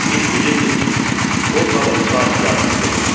Biz bilirdik ki, o zavod sahibkarının qızıdır.